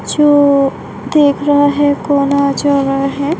जो देख रहा है कौन आ-जा रहा है।